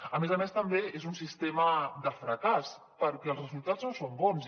a més a més també és un sistema de fracàs perquè els resultats no són bons